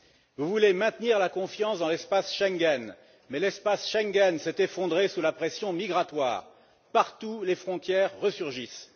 Vous voulez maintenir la confiance dans l'espace Schengen, mais celui ci s'est effondré sous la pression migratoire partout les frontières resurgissent.